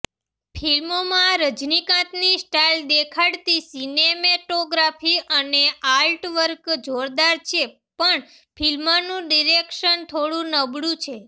ફિલ્મમાં રજનીકાંતની સ્ટાઇલ દેખાડતી સિનેમેટોગ્રાફી અને આર્ટવર્ક જોરદાર છે પણ ફિલ્મનું ડિરેક્શન થોડું નબળું છે